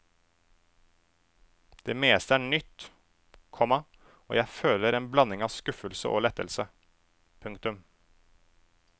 Det meste er nytt, komma og jeg føler en blanding av skuffelse og lettelse. punktum